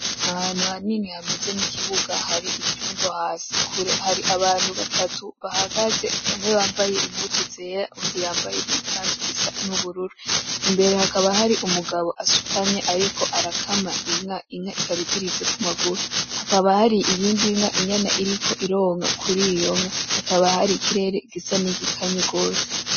Ahantu hanini hameze nkikibuga hari ivyondo hasi. Kure, hari abantu batatu bahagaze bamwe bambaye impuzu zera uwundi yambaye igikanzu gisa nubururu. Imbere hakaba hari umugabo asutamye ariko arakama inka. Inka ikaba iziritse kumaguru. Hakaba hari iyindi nka inyana iriko ironka kuriyo nka. Hakaba hari ikirere gisa nigikanye rwose.